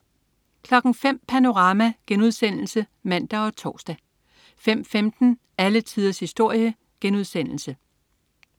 05.00 Panorama* (man og tors) 05.15 Alle tiders historie*